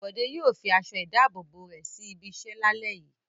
Bọ̀dé yòò fi aṣọ-ìdáàbòbò rẹ̀ sí ibiṣẹ́ lálẹ́ yìí.